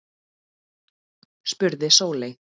spurði Sóley